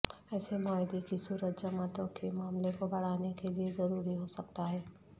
ایسے معاہدے کی صورت جماعتوں کے معاملے کو بڑھانے کے لئے ضروری ہو سکتا ہے